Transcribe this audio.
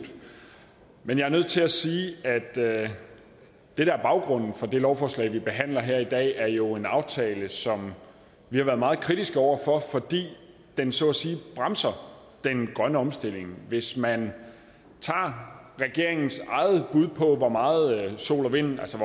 men jeg er nødt til at sige at det der er baggrunden for det lovforslag vi behandler her i dag jo er en aftale som vi har været meget kritiske over for fordi den så at sige bremser den grønne omstilling hvis man tager regeringens eget bud på hvor meget sol og vind altså